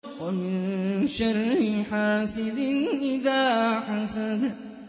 وَمِن شَرِّ حَاسِدٍ إِذَا حَسَدَ